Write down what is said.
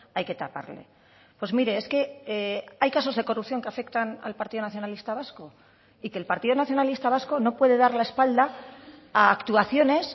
hay que taparle pues mire es que hay casos de corrupción que afectan al partido nacionalista vasco y que el partido nacionalista vasco no puede dar la espalda a actuaciones